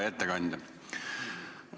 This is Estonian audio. Hea ettekandja!